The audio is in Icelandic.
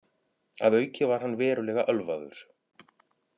Að auki var hann verulega ölvaður